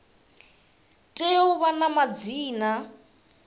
tea u vha na madzina